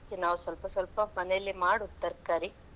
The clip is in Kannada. ಅದಕ್ಕೆ ನಾವು ಸ್ವಲ್ಪ ಸ್ವಲ್ಪ ಮನೆಯಲ್ಲೆ ಮಾಡುದ್ ತರಕಾರಿ.